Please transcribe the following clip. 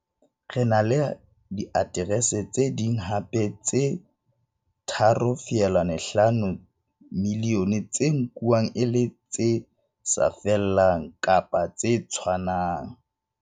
Re na le diaterese tse ding hape tse 3.5 milione tse nkuwang e le tse sa 'fellang' kapa tse 'tshwanang'.